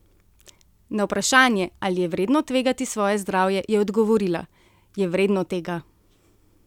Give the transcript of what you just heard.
Na vprašanje, ali je vredno tvegati svoje zdravje, je odgovorila: "Je vredno tega.